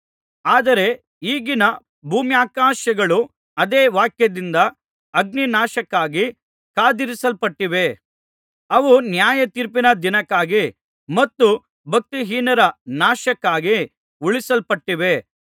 ಆದರೆ ಈಗಿನ ಭೂಮ್ಯಾಕಾಶಗಳು ಅದೇ ವಾಕ್ಯದಿಂದ ಅಗ್ನಿನಾಶಕ್ಕಾಗಿ ಕಾದಿರಿಸಲ್ಪಟ್ಟಿವೆ ಅವು ನ್ಯಾಯ ತೀರ್ಪಿನ ದಿನಕ್ಕಾಗಿ ಮತ್ತು ಭಕ್ತಿಹೀನರ ನಾಶಕ್ಕಾಗಿ ಉಳಿಸಲ್ಪಟ್ಟಿವೆ